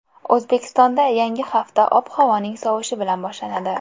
O‘zbekistonda yangi hafta ob-havoning sovishi bilan boshlanadi.